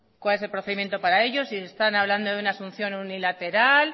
cuál es el procedimiento si están hablando de una asunción unilateral